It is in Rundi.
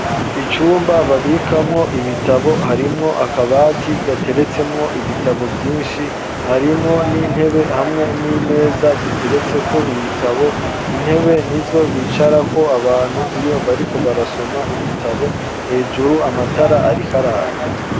Icumba babikamwo ibitabo, harimwo akabati gateretsemwo ibitabo vyinshi, harimwo n'intebe, hamwe n'imeza ziteretseko ibitabo, intebe nizo bicarako abantu iyo bariko barasoma ibitabo; hejuru amatara ariko araka.